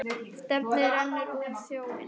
Stefnið rennur út í sjóinn.